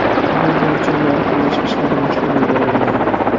Bu bo‘yicha loyihalash ishlari boshlab yuborilgan.